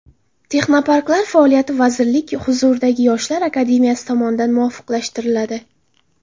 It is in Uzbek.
Texnoparklar faoliyati vazirlik huzuridagi Yoshlar akademiyasi tomonidan muvofiqlashtiriladi.